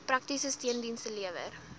praktiese steundienste lewer